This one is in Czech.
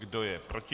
Kdo je proti?